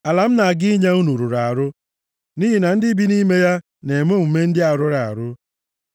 Ala m na-aga inye unu rụrụ arụ nʼihi na ndị bi nʼime ya na-eme omume ndị a rụrụ arụ.